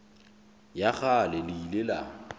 ya kgale le ile la